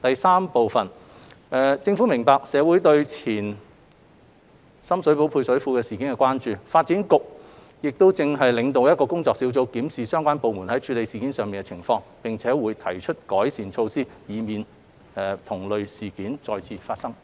三政府明白社會對前深水埗配水庫事件的關注，發展局現正領導一個工作小組，檢視相關部門在處理有關事件上的情況，並會提出改善措施，以避免同類事件再次發生。